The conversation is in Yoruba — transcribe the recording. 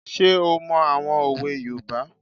Ṣé ó mọ àwọn òwe yoòbá?